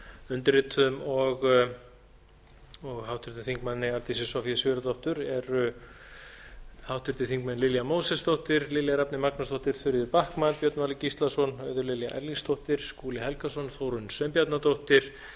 undirrituðum og háttvirtur þingmaður arndísi soffía sigurðardóttur eru háttvirtir þingmenn lilja mósesdóttir lilja rafney magnúsdóttir þuríður backman björn valur gíslason auður lilja erlingsdóttir skúli helgason þórunn sveinbjarnardóttir